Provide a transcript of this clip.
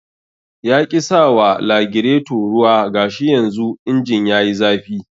Yaƙi sawa lagireto ruwa gashi yanzu injin yayi zafi